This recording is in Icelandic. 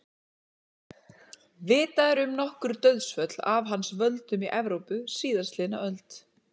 Vitað er um nokkur dauðsföll af hans völdum í Evrópu síðastliðna öld.